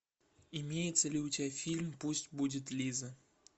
имеется ли у тебя фильм пусть будет лиза